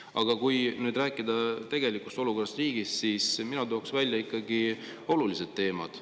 Aga kui nüüd rääkida tegelikust olukorrast riigis, siis mina tooks välja ikkagi olulised teemad.